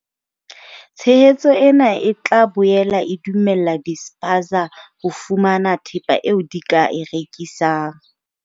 Tshehetso ena e tla boela e dumella di-spaza ho fumana thepa eo di ka e rekisang.